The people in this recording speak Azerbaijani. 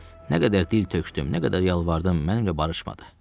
Nə qədər dil tökdüm, nə qədər yalvardım, mənimlə barışmadı.